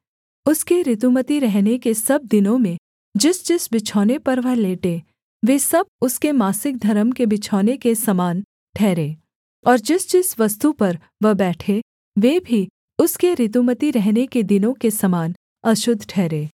उसके ऋतुमती रहने के सब दिनों में जिसजिस बिछौने पर वह लेटे वे सब उसके मासिक धर्म के बिछौने के समान ठहरें और जिसजिस वस्तु पर वह बैठे वे भी उसके ऋतुमती रहने के दिनों के समान अशुद्ध ठहरें